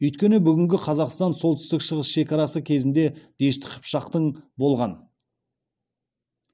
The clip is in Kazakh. өйткені бүгінгі қазақстан солтүстік шығыс шекарасы кезінде дешті қыпшақтың болған